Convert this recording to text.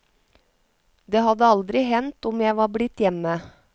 Det hadde aldri hendt om jeg var blitt hjemme.